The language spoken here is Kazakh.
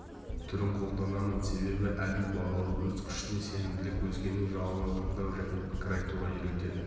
түрін қолданамын себебі әділ бағалау өз күшіне сенімділік өзгенің жауабын тыңдау және пікір айтуға үйретеді